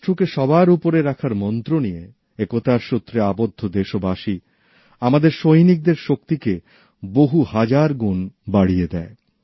রাষ্ট্রকে সবার উপরে রাখার মন্ত্র নিয়ে একতার সূত্রে আবদ্ধ দেশবাসী আমাদের সৈনিকদের শক্তিকে বহু হাজার গুণ বাড়িয়ে দেয়